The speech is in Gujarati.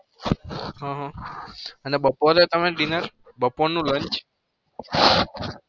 હ હ અને બપોરે તમે dinner બપોરનું lunch